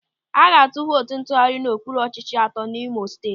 A ga-atụ vootu ntụgharị n'okpuru ọchịchị atọ n'Imo Steeti.